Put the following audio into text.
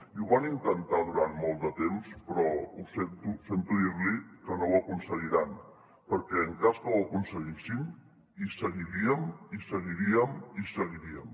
i ho van intentar durant molt de temps però ho sento sento dir li que no ho aconseguiran perquè en cas que ho aconseguissin hi seguiríem hi seguiríem hi seguiríem